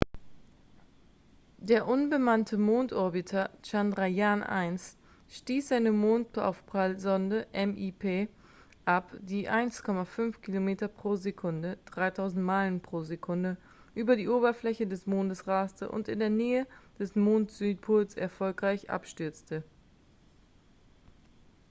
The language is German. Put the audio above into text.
der unbemannte mondorbiter chandrayaan-1 stieß seine mondaufprallsonde mip ab die mit 1,5 kilometern pro sekunde 3.000 meilen pro stunde über die oberfläche des mondes raste und in der nähe des mond-südpols erfolgreich abstürzte